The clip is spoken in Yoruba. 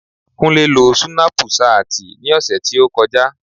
Kúnlé lo súnápù ṣáàtì ní ọ̀sẹ̀ tí ó kọjá